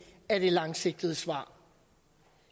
er det langsigtede svar